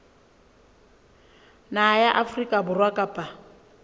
naha ya afrika borwa kapa